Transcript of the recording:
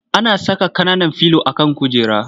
Ana saka ƙananan filo a kan kujera.